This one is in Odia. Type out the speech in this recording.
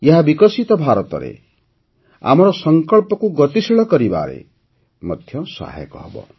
ଏହା ବିକଶିତ ଭାରତରେ ଆମର ସଂକଳ୍ପକୁ ଗତିଶୀଳ କରିବାରେ ମଧ୍ୟ ସେତିକି ସହାୟକ ହେବ